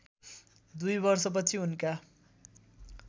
२ वर्षपछि उनका